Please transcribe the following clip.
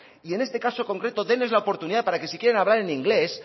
y en este caso concreto deles la oportunidad para que si quieren hablar en inglés